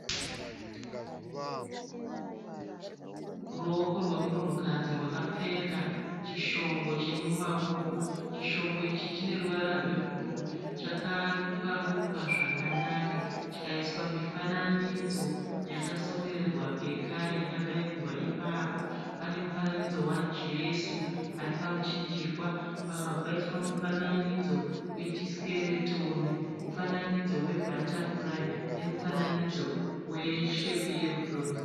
Ruoko rwemunhukadzi rwakapfeka chishongo chemumaoko. Chishongo ichi chineruvara rwebhuruu. Chakarukwa-rukwa zvakanaka chikaiswa mifananidzo yakasonererwa pekare yakabairirwa ipapo. Panemufananidzo waJesu aripamuchinjikwa, pakabva paiswa mufananidzo wechisikeretoni, mufananidzo webhatafurayi nemufananidzo weshepi yerudo.